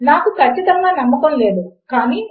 1 కి 1 సమానము అవుతుంది అని మనకు తెలుసు కనుక అది ఒప్పు